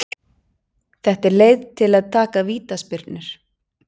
Þetta er leið til að taka vítaspyrnur.